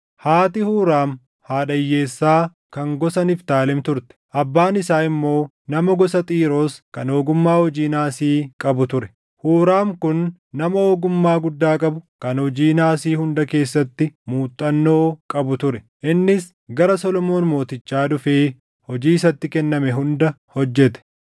haati Huuraam haadha hiyyeessaa kan gosa Niftaalem turte; abbaan isaa immoo nama gosa Xiiroos kan ogummaa hojii naasii qabu ture. Huuraam kun nama ogummaa guddaa qabu kan hojii naasii hunda keessatti muuxannoo qabu ture. Innis gara Solomoon mootichaa dhufee hojii isatti kenname hunda hojjete.